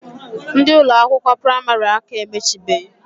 Ndi Ụlọ akwụkwọ praịmarị aka emechibehi.